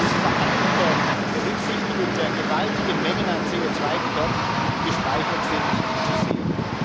Dies ist vor allem unter Berücksichtigung der gewaltigen Mengen an CO2, die dort gespeichert sind, zu sehen.